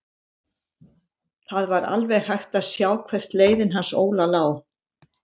Það var alveg hægt að sjá hvert leiðin hans Óla lá.